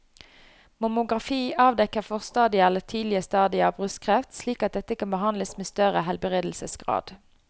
Mammografi avdekker forstadier eller tidlige stadier av brystkreft slik at dette kan behandles med større helbredelsesgrad.